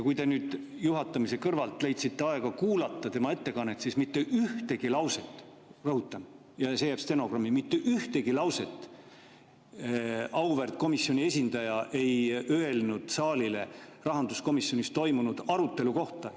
Kui te nüüd juhatamise kõrvalt leidsite aega kuulata tema ettekannet, siis mitte ühtegi lauset – rõhutan, ja see jääb stenogrammi, et mitte ühtegi lauset – auväärt komisjoni esindaja ei öelnud saalile rahanduskomisjonis toimunud arutelu kohta.